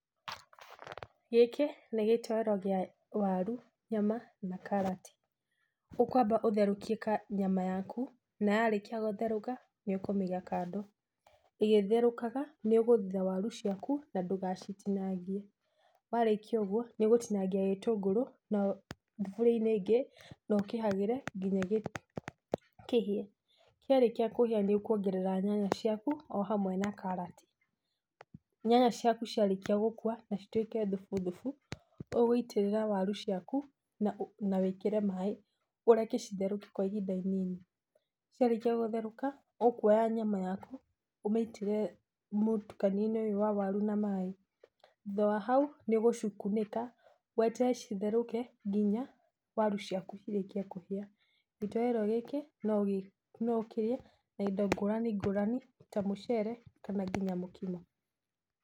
Gĩkĩ nĩ gĩtoro kĩa waru, nyama na karati. Ũkwamba ũtherũkie nyama yaku na yarĩkia gũtherũka nĩ ũkũmĩiga kando. Ĩgĩtherũkaga, nĩũgũthitha waru ciaku na ndũgacitinangie. Warĩkia ũgwo nĩ ũgũtinangia gĩtũngũrũ na, thuburia inĩ ingĩ nokĩhagĩre ngina kĩhĩe. Kĩarĩkia kũhĩa nĩ ũkũongerera nyanya ciaku ohamwe na karati. Nyanya ciaku ciarĩkia gũkua na cituĩke thubu thubu, ũgũitĩrĩra waru ciaku na wĩkĩre maaĩ ũreke citherũke kwa ihinda inini. Ciarĩkia gũtherũka ũkũoya nyama yaku ũmĩitĩrĩre mũtukanio-inĩ ũyũ wa waru na maaĩ. Thutha wa hau, nĩũgũcikunĩka weterere citherũke nginya waru ciaku cirĩkie kũhĩa. Gĩtoero gĩkĩ no ũkĩrĩe na indo ngũrani ngũrani ta mũcere kana nginya mũkimo.